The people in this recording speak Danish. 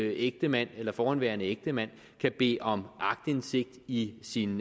ægtemand eller forhenværende ægtemand kan bede om aktindsigt i sin